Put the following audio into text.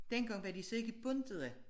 Dengang var de så ikke bundet af